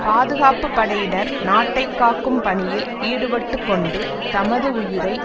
பாதுகாப்பு படையினர் நாட்டை காக்கும் பணியில் ஈடுபட்டுக்கொண்டு தமது உயிரை